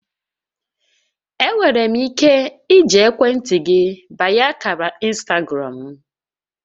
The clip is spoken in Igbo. Enwere m ike iji ekwentị gị banye ákàrà ịnstagram m?